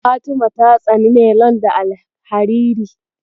Fatima ta tsani nelon da alhariri.